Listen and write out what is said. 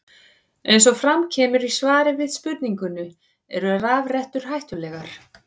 Eins og fram kemur í svari við spurningunni Eru rafrettur hættulegar?